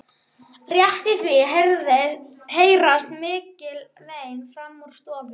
Rétt í því heyrast mikil vein framan úr stofu.